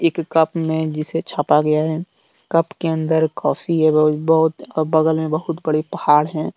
इक कप में जिसे छापा गया है। कप के अंदर कॉफ़ी है बहुत बहुत। और बगल में बहुत बड़े पहाड़ है।